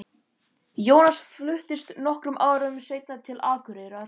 Jónas fluttist nokkrum árum seinna til Akureyrar.